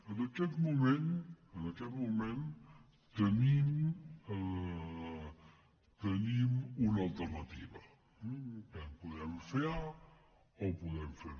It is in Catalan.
en aquest moment en aquest moment tenim una alter·nativa podem fer a o podem fer b